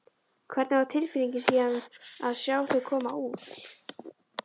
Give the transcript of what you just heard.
Hvernig var tilfinningin síðan að sjá þau koma út?